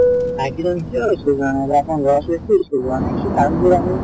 ভাইটি জনে কিয় school যোৱা নাই বা তেওঁৰ লৰা ছোৱালীয়ে কিয় school যোৱা নাই , সেই কাৰণ বোৰ আমি